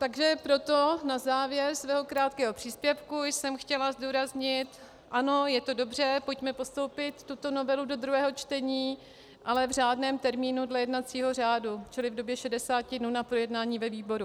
Takže proto na závěr svého krátkého příspěvku jsem chtěla zdůraznit: ano, je to dobře, pojďme postoupit tuto novelu do druhého čtení, ale v řádném termínu dle jednacího řádu, čili v době 60 dnů na projednání ve výboru.